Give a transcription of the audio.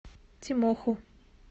тимоху